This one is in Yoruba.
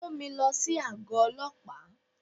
Mú mi lọ sí àgọ́ Ọlọ́pàá.